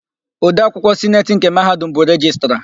Odeakwụkwọ Sineti nke Mahadum bụ Rejistra.